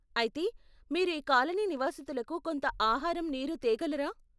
అయితే, మీరు ఈ కాలనీ నివాసితులకు కొంత ఆహారం, నీరు తేగలరా?